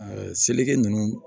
seleke ninnu